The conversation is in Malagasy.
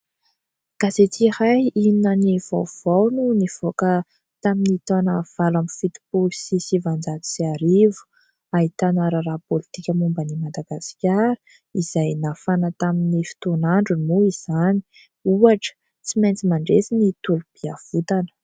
Gazety iray " Inona no vaovao" no nivoaka tamin'ny taona valo ambin'ny fitopolo sy sivanjato sy arivo ; ahitana raharaha politika momba an'i Madagasikara izay nafana tamin'ny fotoan'androny moa izany. Ohatra : tsy maintsy mandresy ny tolom-piavotana.